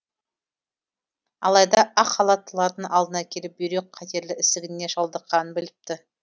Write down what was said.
алайда ақ халаттылардың алдына келіп бүйрек қатерлі ісігіне шалдыққанын біліпті